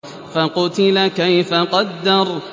فَقُتِلَ كَيْفَ قَدَّرَ